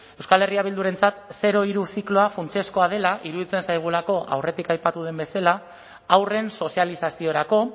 euskal herria bildurentzat zero hiru zikloa funtsezkoa dela iruditzen zaigulako aurretik aipatu den bezala haurren sozializaziorako